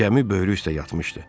Gəmi böyrü üstə yatmışdı.